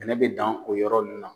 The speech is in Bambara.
Kɛlɛ be dan o yɔrɔ nunnu la.